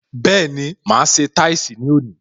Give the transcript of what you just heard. Bẹẹni, máa ṣe táìsì ní òní